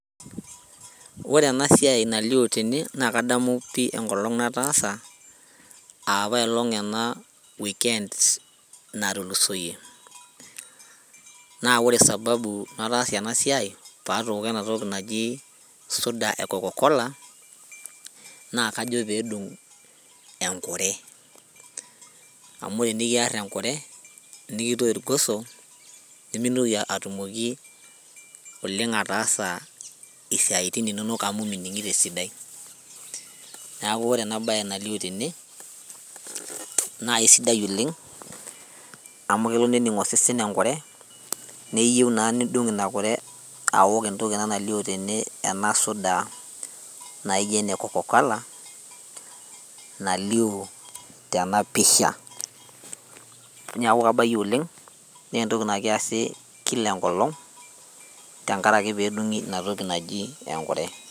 Ore ena siai nalio tene naa kadamu pii enkolong nataasa apailong ena weekend natulusoyie naa ore sababu nataasie ena siai patooko ena toki naji suda e coca cola naa kajo pedung enkure amu tenikiarr enkure nikitoi irgoso nemintoki atumoki oleng ataasa isiaitin inonok amu mining'ito esidai niaku ore ena baye nalio tene naa eisidai oleng amu kelo nening osesen enkure neyeu naa nidung ina kure awok entoki ena nalio tene ena suda naijio ene coca cola nalio tenapisha niaku kabayie oleng naa entoki naa kiasi kila enkolong tenkaraki pedung'i inatoki naji enkure.